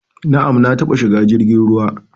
Na'am, na taba shiga jirgin ruwa